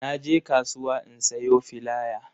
Na je kasuwa in sayo filaya